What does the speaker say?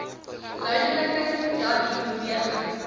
duideliker datdie beweging